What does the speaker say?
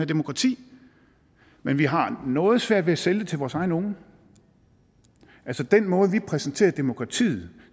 demokrati men vi har noget svært ved at sælge det til vores egne unge altså den måde vi præsenterer demokratiet